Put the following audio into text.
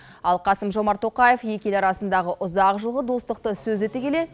ал қасым жомарт тоқаев екі ел арасындағы ұзақ жылғы достықты сөз ете келе